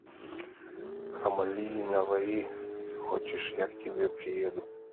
хамали и наваи хочешь я к тебе приеду